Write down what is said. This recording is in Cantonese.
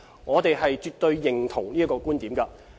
我們絕對認同這觀點。